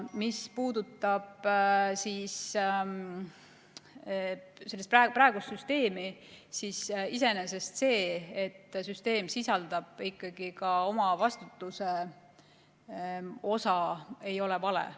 Mis puudutab praegust süsteemi, siis iseenesest see, et süsteem sisaldab ikkagi ka omavastutuse osa, ei ole vale.